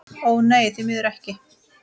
Ó nei, því miður ekki.